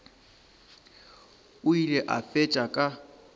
o ile a fetša ka